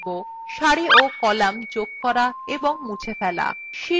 সারি ও কলাম যোগ করা এবং মুছে ফেলা